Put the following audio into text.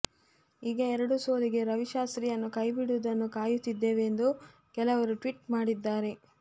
ಈಗ ಎರಡು ಸೋಲಿಗೆ ರವಿಶಾಸ್ತ್ರಿಯನ್ನು ಕೈಬಿಡುವುದನ್ನು ಕಾಯುತ್ತಿದ್ದೇವೆ ಎಂದು ಕೆಲವರು ಟ್ವೀಟ್ ಮಾಡಿದ್ದಾರೆ